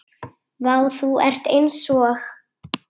Vá, þú ert eins og.